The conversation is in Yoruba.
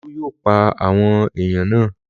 Olú yóò pa àwọn aáyán náà!